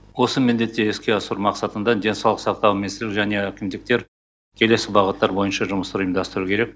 осы міндетті іске асыру мақсатында денсаулық сақтау министрлігі және әкімдіктер келесі бағыттар бойынша жұмыстар ұйымдастыру керек